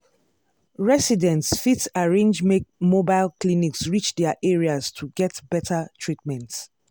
residents fit arrange make mobile clinics reach their areas to get better treatment.